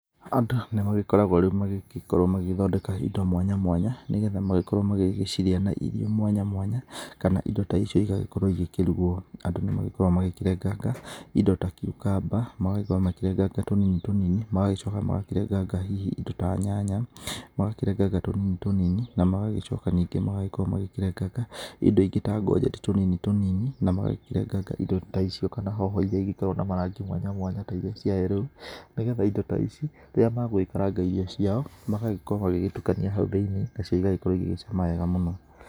Andũ, nĩ magĩkoraguo rĩu magĩgĩkorũo magĩgĩthondeka indo mwanya mwanya, nĩgetha magĩkoruo magĩgĩciria na irio mwanya mwanya, kana indo ta icio igakorũo igĩkĩruguo. Andũ nĩmakoraguo magĩkĩrenganga, indo ta cucumber, magagĩkoruo magĩkĩrenganga tũnini tũnini, magagĩcoka magakĩrenganga hihi indo ta nyanya, magakĩrenganga tũnini tũnini, na magagĩcoka ningĩ magĩkĩrenganga, indo ingĩ ta ngojeti tũnini tũnini, na magakĩrenganga indo ta icio kana hoho iria igĩkoragũo na marangi mwanya mwanya ta iria cia yellow, nĩgetha indo ta icio, rĩrĩa megũgĩkaranga irio ciao, magagĩkorũo magĩtukania hau thĩinĩ, nacio igagĩkorũo igĩgĩcama wega mũno.